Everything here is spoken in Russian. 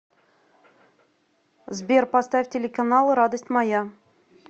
сбер поставь телеканал радость моя